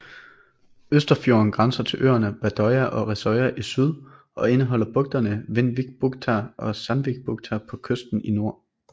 Østerfjorden grænser til øerne Vardøya og Risøya i syd og indeholder bugterne Vindvikbukta og Sandvikbukta på kysten i nord